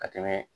Ka tɛmɛ